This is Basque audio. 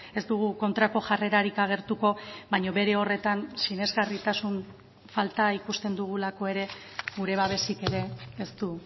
ez dugu kontrako jarrerarik agertuko baina bere horretan sinesgarritasun falta ikusten dugulako ere gure babesik ere ez du